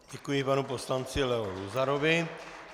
Děkuji panu poslanci Leo Luzarovi.